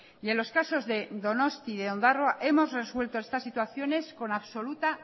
y en los casos de donostia y ondarroa hemos resuelto estas situaciones con absoluta